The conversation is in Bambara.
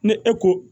Ni e ko